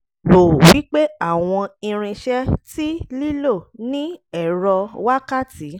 rò wípé àwọn irinṣẹ́ tí lílo ní ẹ̀rọ wákàtí